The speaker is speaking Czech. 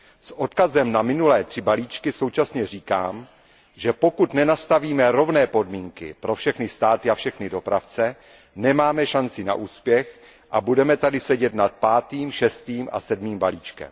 S odkazem na minulé tři balíčky současně říkám, že pokud nenastavíme rovné podmínky pro všechny státy a všechny dopravce, nemáme šanci na úspěch a budeme tady sedět nad pátým, šestým a sedmým balíčkem.